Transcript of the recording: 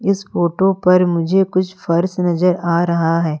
इस फोटो पर मुझे कुछ फर्श नजर आ रहा है।